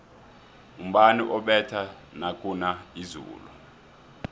umbani ubetha nakuna izulu